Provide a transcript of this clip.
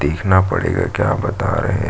देखना पड़ेगा क्या बता रहे --